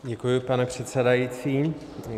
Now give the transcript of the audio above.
Děkuji, pane předsedající.